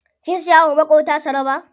Kin siya wa maƙota tsaraba?